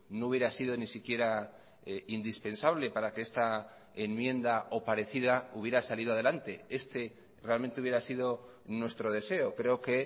no hubiera sido ni siquiera indispensable para que esta enmienda o parecida hubiera salido adelante este realmente hubiera sido nuestro deseo creo que